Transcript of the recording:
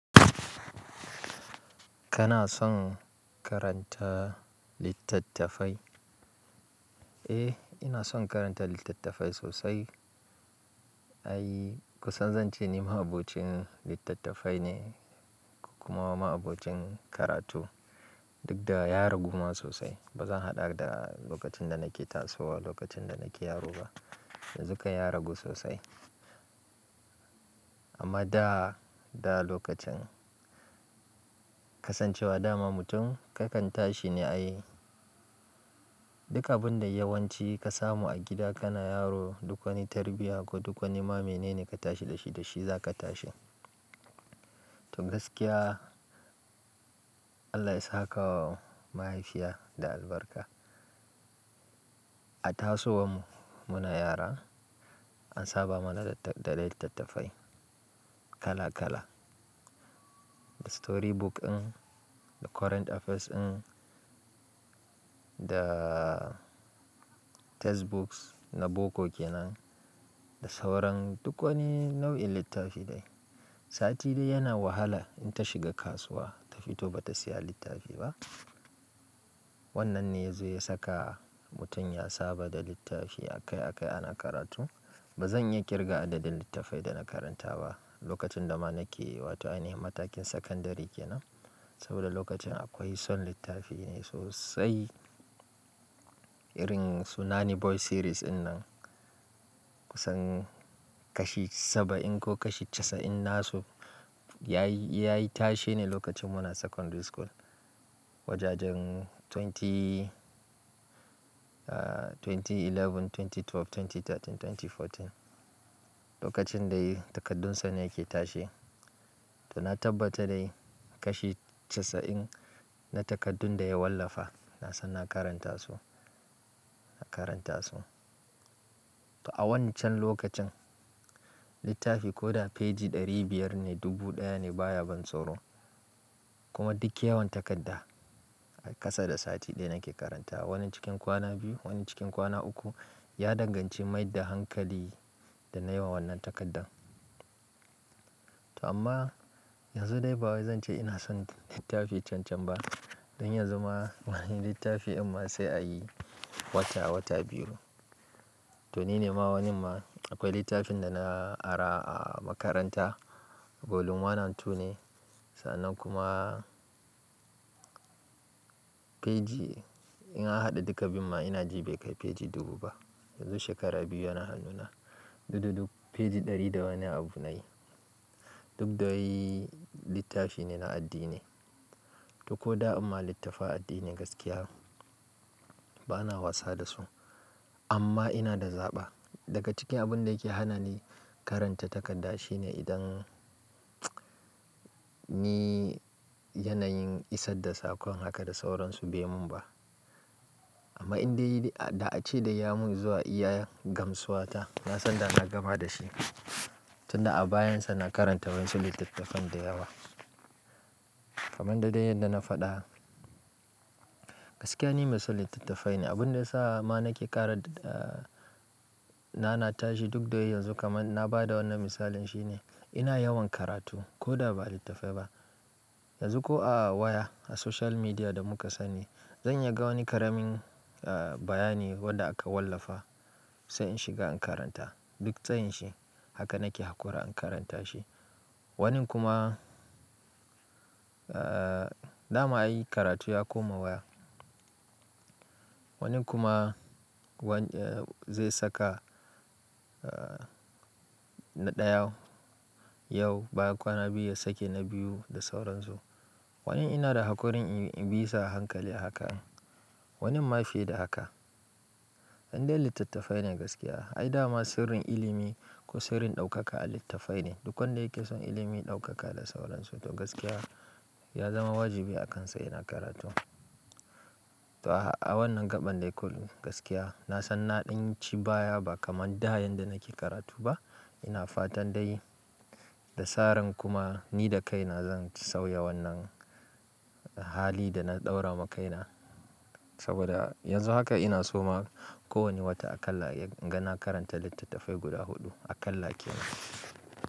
Kana son karanta littattafai? Eh, ina son karanta littattafai sosai. Ai kusan zance ni ma'abocin littattafai ne, kuma ma'abocin karatu. Dukda ya ragu ma sosai. Ba zan haɗa da lokacin da nake tasowa, lokacin da nake yaro ba. Yanzu kai ya ragu sosai. Amma da, da lokacin kasancewa dama mutum kakan tashi ne ai duk abinda yawanci ka samu a gida kana yaro, duk wani tarbiyya ko duk wani ma menene ka tashi da shi, da shi zaka tashi. To gaskiya, Allah ya sakawa mahaifiya da albarka. A tasowar mu, muna yara an saba mana da littattafai kala kala. Da storybook ɗin, da current affairs ɗin, da textbooks na boko kenan, da sauran duk wani nau'in littafi dai. Sati dai yana wahala in ta shiga kasuwa ta fito ba ta saya littafi ba. Wannan ne zai saka mutum ya saba da littafi akai akai ana karatu. Ba zan iya ƙirga adadin littattafai da na karanta ba lokacin da ma nake wato ainihin matakin sakandari kenan. Saboda lokacin akwai son littafi ne sosai. Irin su nani boy series ɗinnan kusan kashi saba'in ko kashi casa'in nasu yayi, yayi tashe ne lokacin muna secondary school. Wajajen twenty, twenty eleven, twenty twelve, twenty thirteen, twenty fourteen. Lokacin dai takardunsa ne yake tashe. To na tabbata dai kashi casa'in na takardun da ya wallafa. Na san na karanta su, na karanta su. To a wancan lokacin, littafi ko da feji ɗari biyar ne, dubu ɗaya ne baya ban tsoro. Kuma duk yawan takarda a kasa da sati ɗaya nake karanta. Wani cikin kwana biyu, wani cikin kwana uku. Ya danganci maida hankali da nayi wa wannan takardan. To amma yanzu dai ba wai zan ce ina son littafi can can ba. Don yanzu ma wani littafi in ma sai a yi wata, wata biyu. To nine ma wannan ma akwai littafin da na ara a makaranta. Volume one and two ne. Sannan kuma feji in an haɗa duka biyun ma ina ji bai kai feji dubu ba. Yanzu shekara biyu yana hannuna. Dududu feji ɗari da wani abu na yi. Duk da wai littafi ne na addini. To ko da dinma littafan addini gaskiya bana wasa da su. Amma ina da zaɓa. Daga cikin abun da yake hana ni karanta takarda shine idan ni yanayin isar da saƙon haka da sauransu bai mun ba. Amma in dai, da ace dai ya mun zuwa iya gamsuwa ta, nasan da na gama da shi. Tunda a bayan sa na karanta wasu littattafan da yawa. Kaman da dai yadda na faɗa. Gaskiya ni mai son littattafai ne. Abun da ya sa ma nake ƙara nanata shi dukda yanzu kaman na bada wannan misalin shine ina yawan karatu koda ba littafai ba. Yanzu ko a waya a social media da muka sani. Zan iya ga wani ƙaramin bayani wanda aka wallafa, sai in shiga in karanta. Duk tsayin shi haka nake haƙura in karanta shi. Wanin kuma, dama ai karatu ya koma waya. Wanin kuma wanda zai saka na ɗaya yau, baya kwana biyu ya sake na biyu da sauran su. Wani ina da haƙurin in, in bi sa hankali a haka. Wanin ma fiye da haka. Indai littattafai ne gaskiya. Ai dama sirrin ilimi ko sirrin ɗaukaka a littafai ne. Duk wanda yake son ilimi, ɗaukaka da sauransu to gaskiya ya zama wajibi a kansa yana karatu. To a wannan gaɓan dai kam gaskiya na san naɗin ci baya ba kaman da yanda nake karatu ba. Ina fatan dai da saran kuma ni da kai na zan sauya wannan hali da na ɗaura ma kaina. Saboda yanzu haka ina so ma kowani wata akalla inga na karanta littattafai guda huɗu. Akalla kenan.